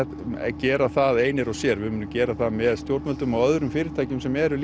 gera það einir og sér við munum gera það með stjórnvöldum og öðrum fyrirtækjum sem eru